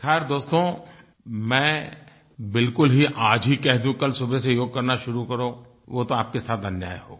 खैर दोस्तो मैं बिलकुल ही आज ही कह दूँ कल सुबह से योग करना शुरू करो वो तो आपके साथ अन्याय होगा